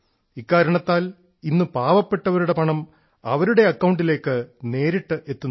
ഇക്കാരണത്താൽ ഇന്ന് പാവപ്പെട്ടവരുടെ പണം അവരുടെ അക്കൌണ്ടിലേക്ക് നേരിട്ട് എത്തുന്നു